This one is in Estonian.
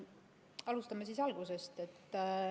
Alustame siis algusest.